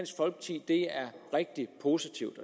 rigtig positivt